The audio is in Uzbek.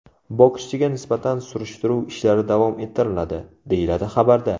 Bokschiga nisbatan surishtiruv ishlari davom ettiriladi”, – deyiladi xabarda.